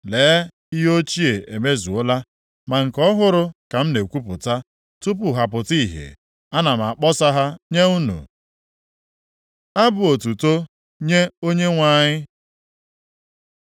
Lee ihe ochie emezuola ma nke ọhụrụ ka m na-ekwupụta. Tupu ha pụta ìhè ana m akpọsa ha nye unu.” Abụ otuto nye Onyenwe anyị